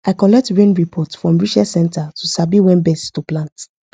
i collect rain report from research centre to sabi when best to plant